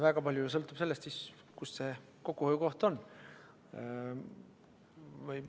Kõik sõltub väga paljuski sellest, kus see kokkuhoiukoht on.